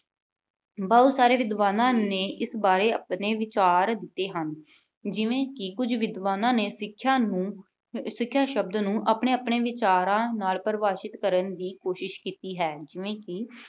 ਬਹੁਤ ਸਾਰੇ ਵਿਦਵਾਨਾਂ ਨੇ ਇਸ ਬਾਰੇ ਆਪਣੇ ਵਿਚਾਰ ਦਿੱਤੇ ਹਨ। ਜਿਵੇਂ ਕਿ ਕੁਝ ਵਿਦਵਾਨਾਂ ਨੇ ਸਿੱਖਿਆ ਨੂੰ, ਸਿੱਖਿਆ ਸ਼ਬਦ ਨੂੰ ਆਪਣੇ-ਆਪਣੇ ਵਿਚਾਰਾਂ ਨਾਲ ਪ੍ਰਭਾਸ਼ਿਤ ਕਰਨ ਦੀ ਕੋਸ਼ਿਸ਼ ਕੀਤੀ ਹੈ। ਜਿਵੇਂ ਕਿ